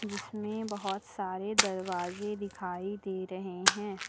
जिसमें बहोत सारे दरवाजे दिखाई दे रहे हैं।